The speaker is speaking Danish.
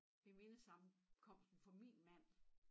Ved mindesammenkomsten for min mand